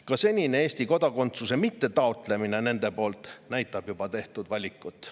Ka see, et nad seni on Eesti kodakondsuse taotlemata jätnud, näitab juba nende tehtud valikut.